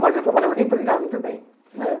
Mas eu trabalhava de empregado também, né?